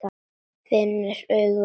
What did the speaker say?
Finnur augu allra á sér.